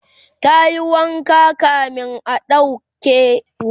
tayi wanka kamin a ɗauke ruwa